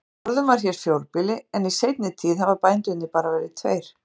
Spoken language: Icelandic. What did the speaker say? Forðum var hér fjórbýli en í seinni tíð hafa bændurnir bara verið tveir.